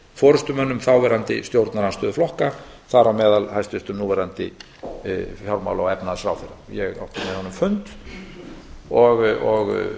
forustumönnum þáverandi stjórnarandstöðuflokka þar á meðal hæstvirtur núverandi fjármála og efnahagsráðherra ég átti með honum fund og